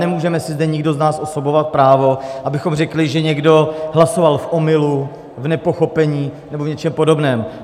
Nemůžeme si zde nikdo z nás osobovat právo, abychom řekli, že někdo hlasoval v omylu, v nepochopení nebo v něčem podobném.